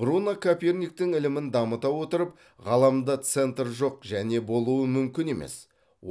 бруно коперниктің ілімін дамыта отырып ғаламда центр жоқ және болуы мүмкін емес